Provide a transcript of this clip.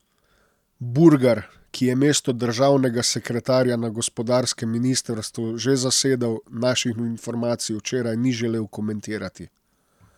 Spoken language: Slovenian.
Burgar, ki je mesto državnega sekretarja na gospodarskem ministrstvu že zasedal, naših informacij včeraj ni želel komentirati.